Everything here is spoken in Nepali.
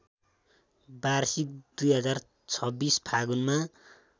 वार्षिक २०२६ फागुनमा